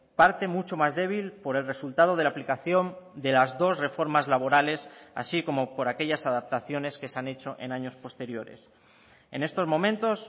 parte mucho más débil por el resultado de la aplicación de las dos reformas laborales así como por aquellas adaptaciones que se han hecho en años posteriores en estos momentos